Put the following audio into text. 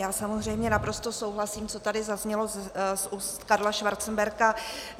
Já samozřejmě naprosto souhlasím, co tady zaznělo z ústa Karla Schwarzenberga.